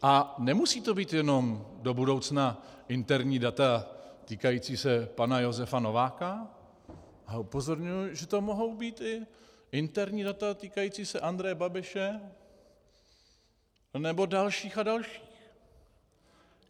A nemusí to být jenom do budoucna interní data týkající se pana Josefa Nováka a upozorňuji, že to mohou být i interní data týkající se Andreje Babiše nebo dalších a dalších.